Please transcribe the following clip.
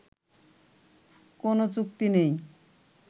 কোন চুক্তি নেই